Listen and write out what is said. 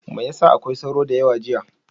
Me ya sa akwai sauro da yawa jiya?